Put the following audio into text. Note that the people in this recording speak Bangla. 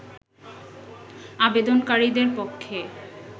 আবেদনকারীদের পক্ষে